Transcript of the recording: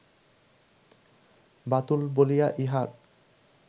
বাতুল বলিয়া ইহার